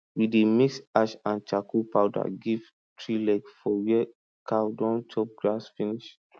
we dey mix ash and charcoal powder give tree leg for where cow don chop grass finish